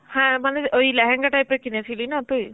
হ্যাঁ মানে ওই লেহেঙ্গা type এর কিনেছিলি না তুই?